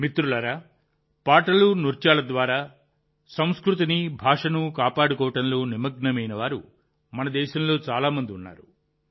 మిత్రులారా పాటలు నృత్యాల ద్వారా తమ సంస్కృతిని భాషను కాపాడుకోవడంలో నిమగ్నమై ఉన్నవారు మన దేశంలో చాలా మంది ఉన్నారు